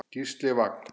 Gísli Vagn.